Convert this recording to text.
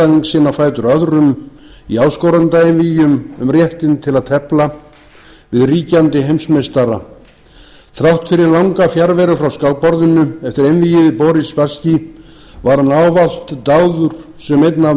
andstæðing sinn á fætur öðrum í áskorendaeinvígjum um réttinn til að tefla við ríkjandi heimsmeistara þrátt fyrir langa fjarveru frá skákborðinu eftir einvígið við boris spasskí var hann ávallt dáður sem einn af